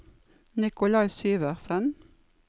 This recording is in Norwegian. Nikolai Syversen